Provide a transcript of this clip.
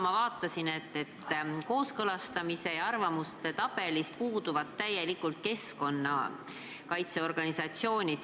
Ma vaatasin, et kooskõlastamiste ja arvamuste tabelis puuduvad täielikult keskkonnakaitseorganisatsioonid.